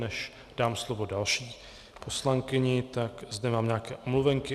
Než dám slovo další poslankyni, tak zde mám nějaké omluvenky.